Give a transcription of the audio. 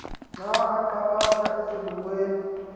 xa aqakatha ezibukweni